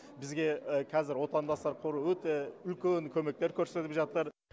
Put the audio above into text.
бізге қазір отандастар қоры өте үлкен көмектер көрсетіп жатыр